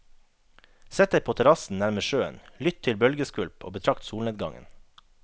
Sett deg på terrassen nærmest sjøen, lytt til bølgeskvulp og betrakt solnedgangen.